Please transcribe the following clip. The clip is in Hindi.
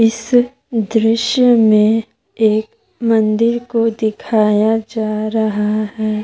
इस दृश्य में एक मंदिर को दिखाया जा रहा है।